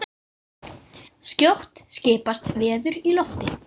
Þinn, Jón Davíð.